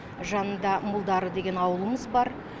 жанында молдары деген ауылымыз бар